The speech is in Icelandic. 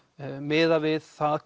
miðað við það